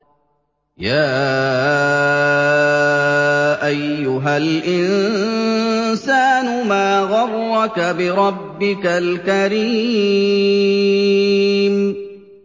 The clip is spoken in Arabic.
يَا أَيُّهَا الْإِنسَانُ مَا غَرَّكَ بِرَبِّكَ الْكَرِيمِ